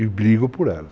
E brigo por elas.